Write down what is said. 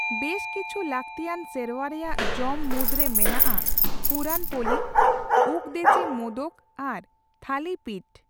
ᱵᱮᱥ ᱠᱤᱪᱷᱩ ᱞᱟᱹᱠᱛᱤᱭᱟᱱ ᱥᱮᱨᱣᱟ ᱨᱮᱭᱟᱜ ᱡᱚᱢ ᱢᱩᱫ ᱨᱮ ᱢᱮᱱᱟᱜ ᱟ ᱯᱩᱨᱟᱱ ᱯᱳᱞᱤ, ᱩᱠᱫᱮᱪᱮ ᱢᱳᱫᱚᱠ ᱟᱨ ᱛᱷᱟᱞᱤ ᱯᱤᱴ ᱾